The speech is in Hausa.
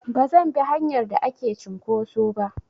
Bazan bi hanyar da ake cinƙoso ba.